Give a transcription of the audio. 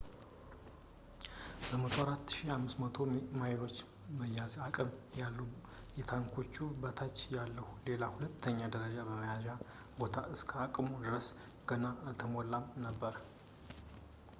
104,500 በርሜሎችን የመያዝ አቅም ያለው ከታንኮቹ በታች ያለ ሌላ ሁለተኛ ደረጃ መያዣ ቦታ እስከ አቅሙ ድረስ ገና አልተሞላም ነበር